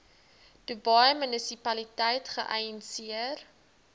dubai munisipaliteit geïnisieer